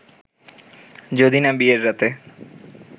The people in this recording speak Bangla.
যদি না বিয়ের রাতে